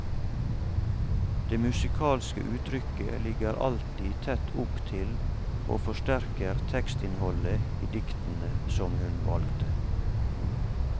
Det musikalske uttrykket ligger alltid tett opp til og forsterker tekstinnholdet i diktene som hun valgte.